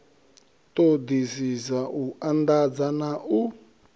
ṱhoḓisiso u anḓadza na u